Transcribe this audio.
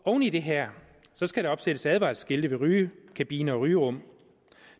oven i det her skal der opsættes advarselsskilte ved rygekabiner og rygerum